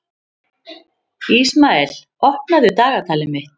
Ísmael, opnaðu dagatalið mitt.